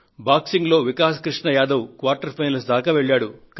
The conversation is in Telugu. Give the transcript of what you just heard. బాక్సింగ్ లో వికాస్ కృష్ణ యాదవ్ క్వార్టర్ ఫైనల్స్ దాకా వెళ్లారు